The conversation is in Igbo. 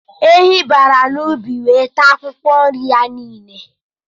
Ehi bara n'ubi ya wee taa akwụkwọ nri ya niile